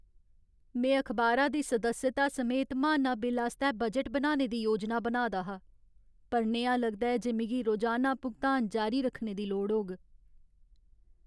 में अखबारा दी सदस्यता समेत महाना बिल आस्तै बजट बनाने दी योजना बनाऽ दा हा, पर नेहा लगदा ऐ जे मिगी रोजाना भुगतान जारी रक्खने दी लोड़ होग।